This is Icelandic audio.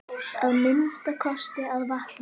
Að minnsta kosti að vakna.